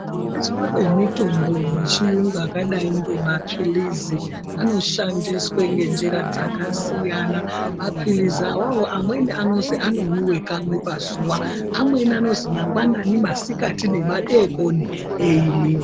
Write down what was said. Kushandiswe kwemitombo yechiyungu yakadai ngemaphilizi, anoshandiswe ngenjira dzakasiyana. Maphilizi awawo amweni anozi anomwiwe kamwe pazuwa. Amweni anozi mangwanani, masikati, nemadeekoni eimwiwa.